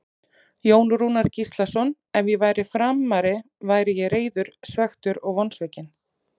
Jón Rúnar Gíslason Ef ég væri Framari væri ég reiður, svekktur og vonsvikinn.